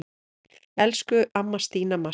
Elsku amma Stína Mass.